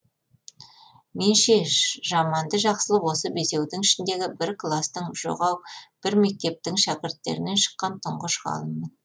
мен ше жаманды жақсылы осы бесеудің ішіндегі бір кластың жоқ ау бір мектептің шәкірттерінен шыққан тұңғыш ғалыммын